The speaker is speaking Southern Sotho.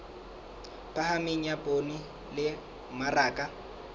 phahameng ya poone le mmaraka